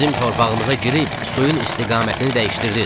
Bizim torpağımıza girib suyun istiqamətini dəyişdirdiz.